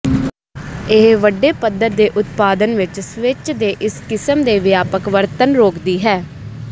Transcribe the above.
ਇਹ ਵੱਡੇ ਪੱਧਰ ਦੇ ਉਤਪਾਦਨ ਵਿੱਚ ਸਵਿੱਚ ਦੇ ਇਸ ਕਿਸਮ ਦੇ ਵਿਆਪਕ ਵਰਤਣ ਰੋਕਦੀ ਹੈ